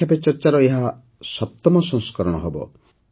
ପରୀକ୍ଷା ପେ ଚର୍ଚ୍ଚାର ଏହା ୭ମ ସଂସ୍କରଣ ହେବ